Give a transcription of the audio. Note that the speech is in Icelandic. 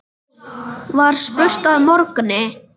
var spurt að morgni.